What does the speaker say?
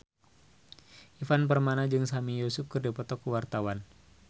Ivan Permana jeung Sami Yusuf keur dipoto ku wartawan